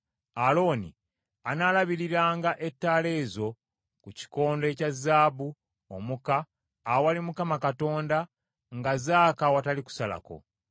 Alooni anaalabiriranga ettaala ez’oku kikondo ekya zaabu omuka awali Mukama Katonda nga zaaka awatali kusalako.